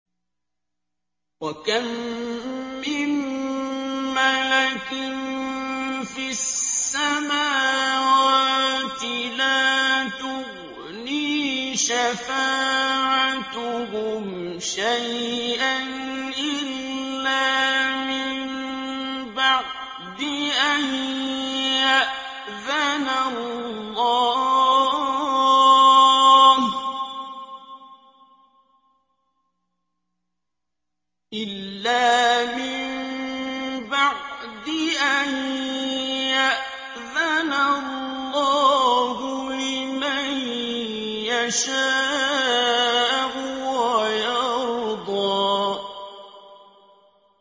۞ وَكَم مِّن مَّلَكٍ فِي السَّمَاوَاتِ لَا تُغْنِي شَفَاعَتُهُمْ شَيْئًا إِلَّا مِن بَعْدِ أَن يَأْذَنَ اللَّهُ لِمَن يَشَاءُ وَيَرْضَىٰ